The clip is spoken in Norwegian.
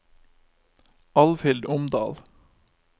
Alvhild Omdal